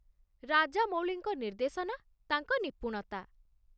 ରାଜାମଉଳିଙ୍କ ନିର୍ଦ୍ଦେଶନା, ତାଙ୍କ ନିପୁଣତା